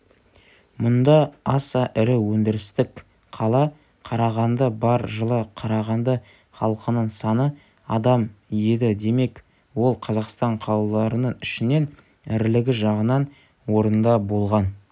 мұнда аса ірі өндірістік қала қарағанды бар жылы қарағанды халқының саны адам еді демек ол қазақстан қалаларының ішінен ірілігі жағынан орында болған